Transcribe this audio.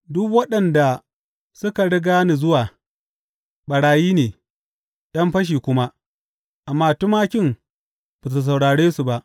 Duk waɗanda suka riga ni zuwa ɓarayi ne, ’yan fashi kuma, amma tumakin ba su saurare su ba.